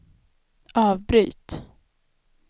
avbryt